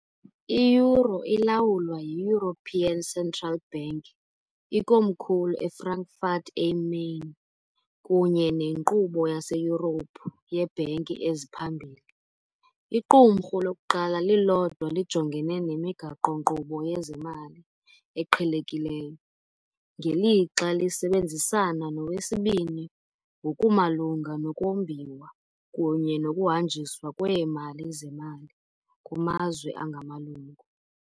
I-euro ilawulwa yi- European Central Bank, ikomkhulu eFrankfurt am Main, kunye neNkqubo yaseYurophu yeeBhanki eziPhambili, iqumrhu lokuqala lilodwa lijongene nemigaqo -nkqubo yezemali eqhelekileyo, ngelixa lisebenzisana nowesibini ngokumalunga nokumbiwa kunye nokuhanjiswa kweemali zemali kumazwe angamalungu.